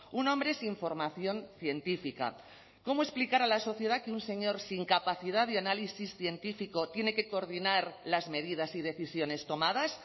un hombre sin formación científica cómo explicar a la sociedad que un señor sin capacidad de análisis científico tiene que coordinar las medidas y decisiones tomadas